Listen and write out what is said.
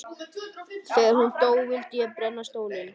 Þegar hún dó vildi ég brenna stólinn.